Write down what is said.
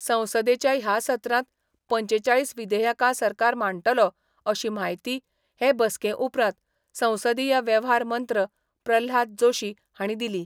संसदेच्या ह्या सत्रांत पंचेचाळीस विधेयकां सरकार मांडटलो अशी म्हायती हे बसके उपरांत संसदीय वेव्हार मंत्र प्रल्हाद जोशी हांणी दिली.